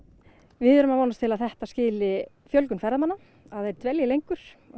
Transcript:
við erum að vonast til að þetta skili fjölgun ferðamanna að þeir dvelji lengur